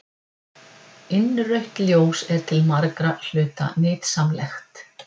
Innrautt ljós er til margra hluta nytsamlegt.